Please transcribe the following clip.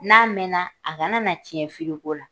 N'a mɛna, a kana na tiɲɛ la.